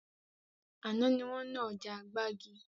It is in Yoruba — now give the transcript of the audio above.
Àná ni wọn ná ọjà gbàgì